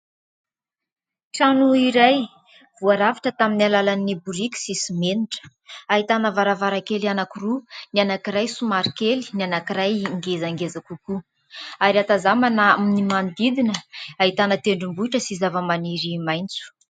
Trano iray voarafitra tamin'ny alalan'ny boriky sy simenitra, ahitana varavarakely anankiroa : ny anankiray somary kely, ny anankiray ngezangeza kokoa ary ahatazanana ny manodidina ahitana tendrombohitra sy zava-maniry maintso.